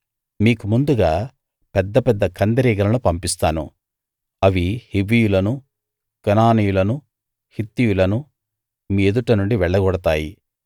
మీకు ముందుగా పెద్ద పెద్ద కందిరీగలను పంపిస్తాను అవి హివ్వీయులను కనానీయులను హిత్తీయులను మీ ఎదుట నుండి వెళ్ళగొడతాయి